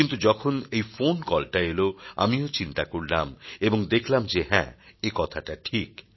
কিন্তু যখন এই ফোন কলটা এল আমিও চিন্তা করলাম এবং দেখলাম যে হ্যাঁ একথাটা ঠিক